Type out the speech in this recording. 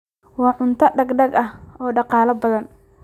Waa cunto degdeg ah oo dhaqaale badan.